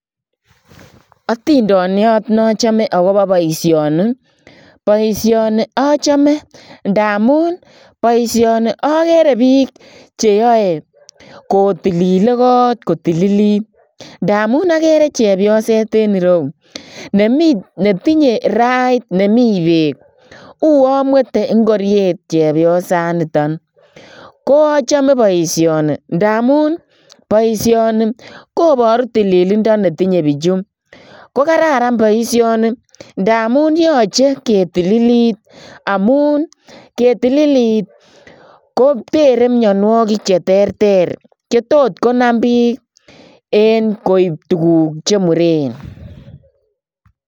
Atindaniat ne achame agobo boisioni ii , boisioni achame ndamuun boisioni agere biik che yae kotilili koot kotililit ndamuun agere chepyoseet en ireuu ne tinyei kirait nemiii beek uwaan mwete ingoriet chepyosaan nitoon ko achame boisioni ndamuun boisioni kobaruu tililindaa ne tinye bichuu kobaruu kole kararan boisioni ndamuun yachei ketililit amuun ketililit ko terei mianwagik che terter ko tot konam biik en koi Mii tuguuk che Mureen.